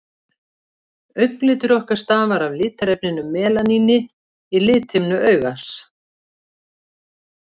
Augnlitur okkar stafar af litarefninu melaníni í lithimnu augans.